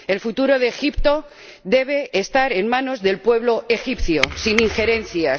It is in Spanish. El futuro de Egipto debe estar en manos del pueblo egipcio, sin injerencias.